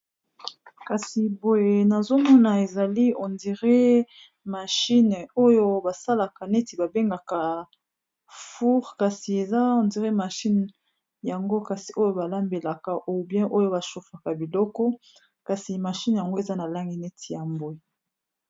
kasi boye na zomona ezali ondire mashine oyo basalaka neti babengaka foure kasi eza ondire mashine yango kasi oyo balambelaka oubien oyo bashofaka biloko kasi mashine yango eza na langi neti ya mboye